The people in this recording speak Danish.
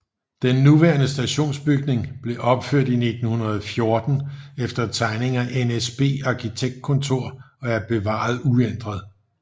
Den nuværende stationsbygning blev opført i 1914 efter tegninger af NSB Arkitektkontor og er bevaret uændret